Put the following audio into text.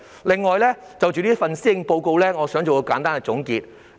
此外，我想就這份施政報告作簡單的總結。